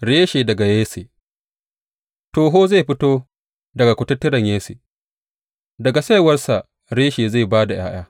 Reshe daga Yesse Toho zai fito daga kututturen Yesse; daga saiwarsa Reshe zai ba da ’ya’ya.